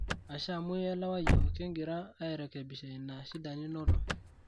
ashe amu ielewa yiok, kigira airekebisha ina shida ninoto